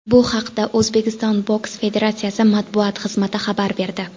Bu haqda O‘zbekiston boks federatsiyasi matbuot xizmati xabar berdi .